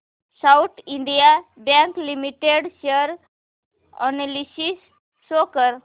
south Indian Bank Limited share analysis show कर